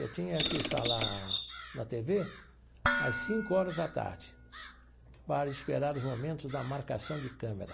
Eu tinha que estar lá na tê vê às cinco horas da tarde, para esperar os momentos da marcação de câmera.